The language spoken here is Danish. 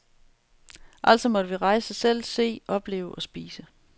Altså måtte vi rejse selv, se, opleve og spise.